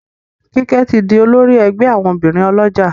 Kike tí dì olórí ègbé àwọn obìrin olójà